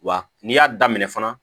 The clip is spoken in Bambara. Wa n'i y'a daminɛ fana